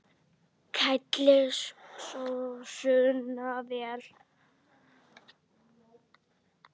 Kælið sósuna vel.